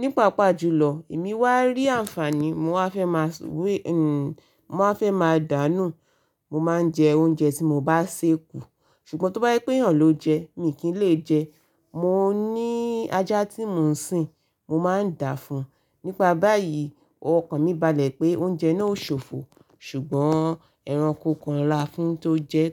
Nípa pàjùlọ, èmi wá rí àǹfàní, mo máa fẹ́ máa dànù. Mo máa ń jẹ oúnjẹ tí mo bá sè kù. Ṣùgbọ́n tó bá ye pé eyàn ló jẹ ẹ́, mi kì í lè jẹ ẹ́. Mo ní ajá tí mò ń sìn, mo máa ń dàá fún un. Nípa báyìí, ọkàn mi balẹ̀ pé oúnjẹ náà ó ṣòfò, ṣùgbọ́n ẹranko kan rà á fún un tó jẹ ẹ́,